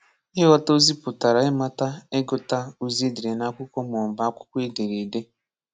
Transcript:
Ịghọta ozi putara ịmata ịgụta ozi e dere n’akwụkwọ maọbụ akwụkwọ edereede.